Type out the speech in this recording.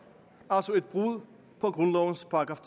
altså et brud på grundlovens §